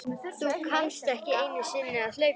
Þú kannt ekki einu sinni að hlaupa